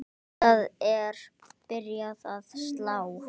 Hjartað er byrjað að slá.